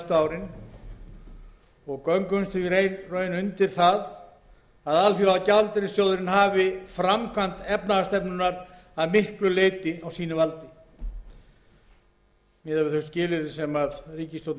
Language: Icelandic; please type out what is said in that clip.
árin og göngumst í raun undir það að alþjóðagjaldeyrissjóðurinn hafi framkvæmd efnahagsstefnuna að miklu leyti á valdi sínu miðað við þau skilyrði sem ríkisstjórnin hefur ákveðið að gangast undir